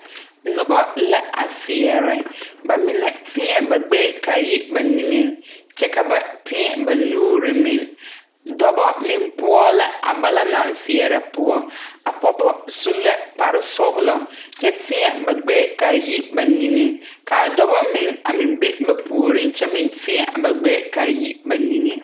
Nobɔ lɛ a seɛrɛ ba mine tēɛ ba gbɛɛ kaa yi ba neŋeŋ kyɛ ka ba tēɛ ba nuure meŋ dɔbɔ meŋ poɔ la a balaŋ naŋ seɛrɛ poɔ a pɔɔbɔ su la kpare sɔglɔ kyɛ tēɛ ba gbɛɛ kaa yi ba niŋeŋ kaa dɔbɔ meŋ a meŋ be ba puoriŋ kyɛ meŋ tēɛ a ba gbɛɛ kaa yi ba neŋeŋ.